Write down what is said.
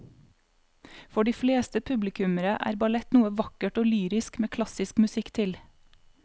For de fleste publikummere er ballett noe vakkert og lyrisk med klassisk musikk til.